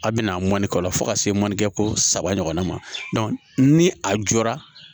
A bɛna mɔnikɔlɔ fo ka se mɔni kɛ saba ɲɔgɔnna ma ni a jɔra